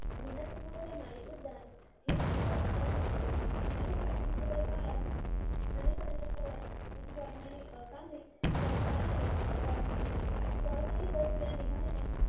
उद्यान हे आपल्या शास्त्राने झालेले आहे आणि स्वातंत्र्य काळात अनेक असे कामे सहकार्याने पार पाडली गेली